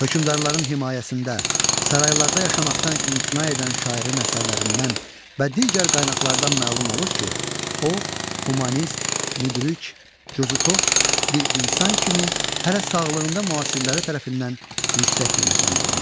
Hökmdarların himayəsində, saraylarda yaşamaqdan imtina edən şairin əsərlərindən və digər qaynaqlardan məlum olur ki, o, humanist, müdrik, cəsurx bir insan kimi hələ sağlığında müasirləri tərəfindən yüksək qiymətləndirilmişdir.